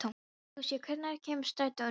Lúsía, hvenær kemur strætó númer níu?